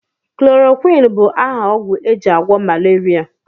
Chloroquin bụ aha ogwụ ejị agwo malaria.